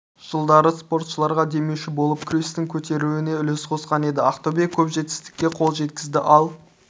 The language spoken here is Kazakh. жылдары спортшыларға демеуші болып күрестің көтерілуіне үлес қосқан еді ақтөбе көп жетістікке қол жеткізді ал